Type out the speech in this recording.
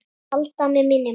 Halda með minni máttar.